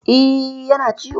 E, yana ciwo.